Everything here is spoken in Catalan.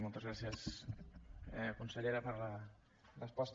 moltes gràcies consellera per la resposta